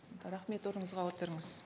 рахмет орныңызға отырыңыз